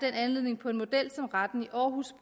anledning på en model som retten i aarhus